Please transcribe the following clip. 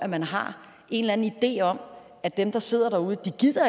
man har en eller anden idé om at dem der sidder derude